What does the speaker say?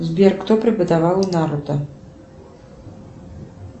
сбер кто преподавал наруто